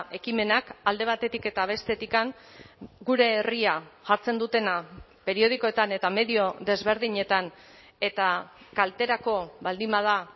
ekimenak alde batetik eta bestetik gure herria jartzen dutena periodikoetan eta medio desberdinetan eta kalterako baldin bada